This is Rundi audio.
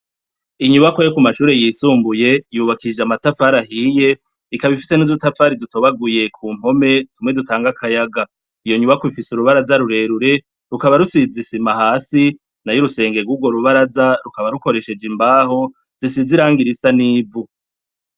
Inyubakwa yo kumashure yisumbuye yubakishijwe amatafari ahiye ikaba ifise nudutafari dutobaguye ku mpome tumwe dutanga akayaga iyo nyubakwa ifise urubaraz rurerure rukaba rusize isima hasi nayo urusenge rwubaza rukaba rukoresheje imbaho zisize irangi zisa nivu